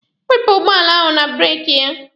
Wepụ ụgbọala ahụ na breeki ya!